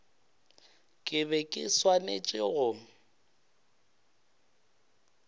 ke be ke swanetše go